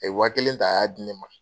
A ye wa kelen ta a y'a di ne ma.